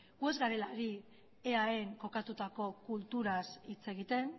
gu ez garela ari eaen kokatutako kulturaz hitz egiten